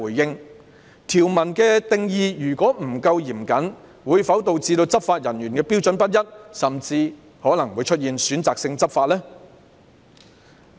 如果條文的定義不夠嚴謹，會否導致執法人員採用的標準不一，甚至可能會出現選擇性執法呢？